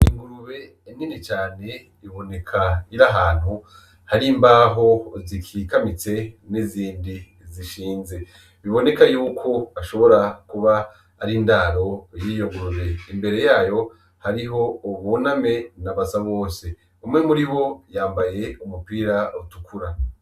Ingurube nini cane iboneka irahantu hari imbaho zikikamitse n'izindi zishinze biboneka yuko ashobora kuba ari indaro yiyogurube imbere yayo hariho uboname nabasa bose umwe muri wo yambaye umupira utukura.